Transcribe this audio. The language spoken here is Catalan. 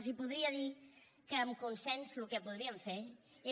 els podria dir que amb consens el que podríem fer és